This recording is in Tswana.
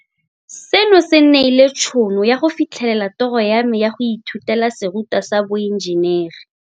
Seno se nneile tšhono ya go fitlhelela toro ya me ya go ithutela serutwa sa boenjenere.